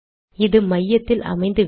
இது மையத்தில் அமைந்துவிடும்